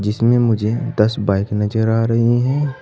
इसमें मुझे दस बाइक नजर आ रही हैं।